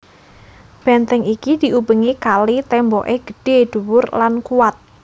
Benteng iki diubengi kali temboke gedhe dhuwur lan kuwat